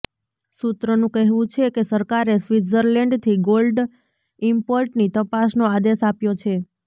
સૂત્રનું કહેવુ છે કે સરકારે સ્વિટ્ઝરલેન્ડથી ગોલ્ડ ઈમ્પોર્ટની તપાસનો આદેશ આપ્યો છે